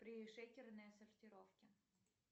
пришейкерные сортировки